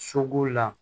Soko la